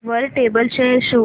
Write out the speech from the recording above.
वर table chair शोध